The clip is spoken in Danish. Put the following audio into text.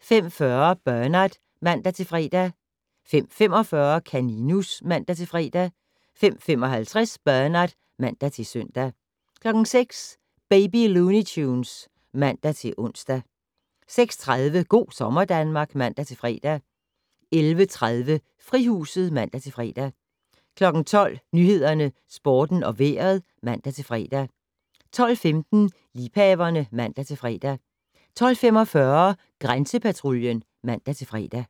05:40: Bernard (man-fre) 05:45: Kaninus (man-fre) 05:55: Bernard (man-søn) 06:00: Baby Looney Tunes (man-ons) 06:30: Go' sommer Danmark (man-fre) 11:30: Frihuset (man-fre) 12:00: Nyhederne, Sporten og Vejret (man-fre) 12:15: Liebhaverne (man-fre) 12:45: Grænsepatruljen (man-fre)